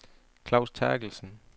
Klaus Terkelsen